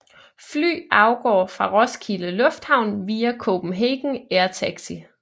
Fly afgår fra Roskilde Lufthavn via Copenhagen Air Taxi